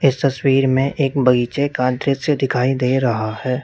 इस तस्वीर में एक बगीचे का दृश्य दिखाई दे रहा है।